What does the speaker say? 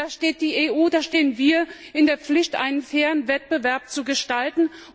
Da steht die EU, da stehen wir in der Pflicht, einen fairen Wettbewerb zu gestalten.